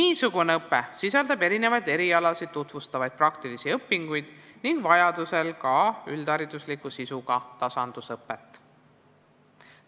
Niisugune õpe sisaldab erinevaid erialasid tutvustavaid praktilisi õpinguid ning vajadusel ka üldharidusliku sisuga tasandusõpet.